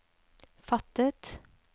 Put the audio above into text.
fattet